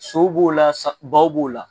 Sow b'o la baw b'o la